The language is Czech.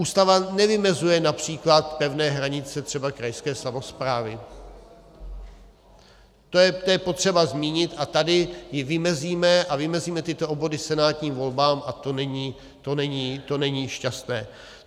Ústava nevymezuje například pevné hranice třeba krajské samosprávy, to je potřeba zmínit, a tady ji vymezíme, a vymezíme tyto obvody senátním volbám a to není šťastné.